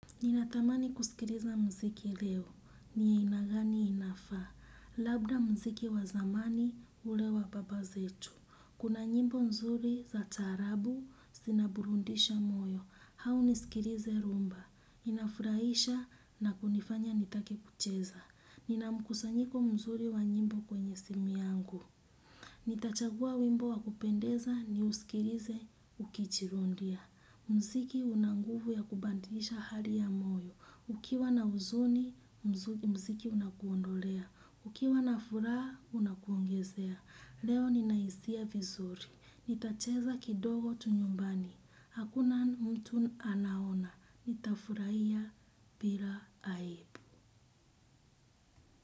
Ninatamani kusikiliza muziki leo. Ni aina gani inafaa? Labda muziki wa zamani ule wa baba zetu. Kuna nyimbo nzuri za taarab zinaburudisha moyo. Au nisikilize rumba. Inafurahisha na kunifanya nitake kucheza. Nina mkusanyiko mzuri wa nyimbo kwenye simu yangu. Nitachagua wimbo wa kupendeza niusikilize nikiwa nimetulia. Muziki una nguvu ya kubadilisha hali ya moyo. Ukiwa na uzuni, muziki unakuondolea. Ukiwa na furaha, unakuongezea. Leo ninahisi vizuri. Nitacheza kidogo tu nyumbani. Hakuna mtu anaona. Nitafurahia bila aibu.